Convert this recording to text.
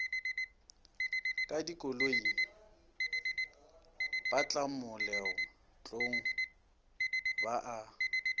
ka dikoloi batlamoletlong ba a